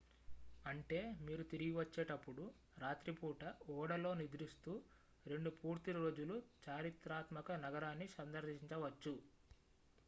అంటే మీరు తిరిగి వచ్చేటప్పుడు రాత్రి పూట ఓడలో నిద్రిస్తూ రెండు పూర్తి రోజులు చారిత్రాత్మక నగరాన్ని సందర్శించవచ్చు